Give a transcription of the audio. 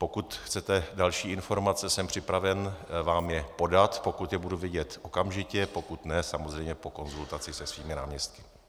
Pokud chcete další informace, jsem připraven vám je podat, pokud je budu vědět okamžitě, pokud ne, samozřejmě po konzultaci se svými náměstky.